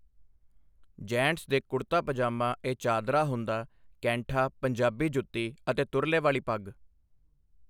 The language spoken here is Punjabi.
ਜੈਂਟਸ ਦੇ ਕੁੜਤਾ ਪਜਾਮਾ ਏ ਚਾਦਰਾ ਹੁੰਦਾ ਕੈਂਠਾ ਪੰਜਾਬੀ ਜੁੱਤੀ ਅਤੇ ਤੁਰਲੇ ਵਾਲੀ ਪੱਗ।